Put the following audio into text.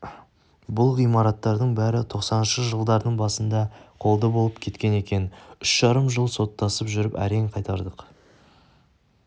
бұл ғимараттардың бәрі тоқсаныншы жылдардың басында қолды болып кеткен екен үш жарым жыл соттасып жүріп әрең қайтардық